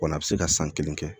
Wa n'a bɛ se ka san kelen kɛ